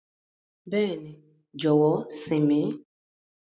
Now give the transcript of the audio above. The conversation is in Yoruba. Bẹẹni, jọwọ sìn mi.